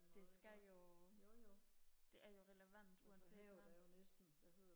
det skal jo det er jo relevant uanset hvad